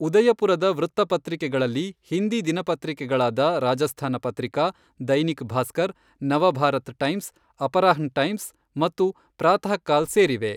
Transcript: ಉದಯಪುರದ ವೃತ್ತಪತ್ರಿಕೆಗಳಲ್ಲಿ ಹಿಂದಿ ದಿನಪತ್ರಿಕೆಗಳಾದ Rajasthan Patrika, Dainik Bhaskar, Navbharat Times, Aparahn Times ಮತ್ತು ಪ್ರಾತಹಕಲ್ ಸೇರಿವೆ.